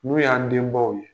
N'u y'a. denbaw ye